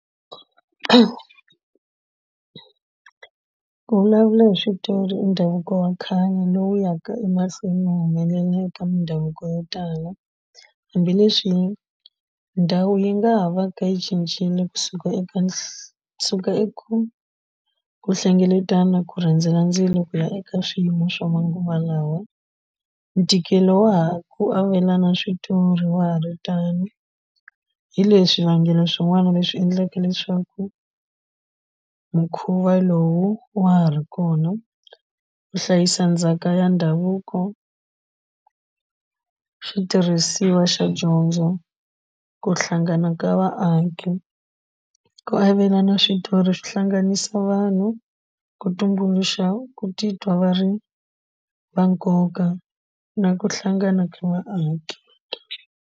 Ku vulavula hi switori i ndhavuko wa khale lowu ya ka emahlweni no humelela eka mindhavuko yo tala hambileswi ndhawu yi nga ha va ka yi cincile kusuka eka kusuka eku ku hlengeletana ku rhendzela ndzilo ku ya eka swiyimo swa manguva lawa ntikelo wa ha ku avelana switori wa ha ri tano hi leswi swivangelo swin'wana leswi endlaka leswaku mukhuva lowu wa ha ri kona ku hlayisa ndzhaka ya ndhavuko xitirhisiwa xa dyondzo ku hlangana ka vaaki ku avelana switori swi hlanganisa vanhu ku tumbuluxa ku titwa va ri va nkoka na ku hlangana ka vaaki.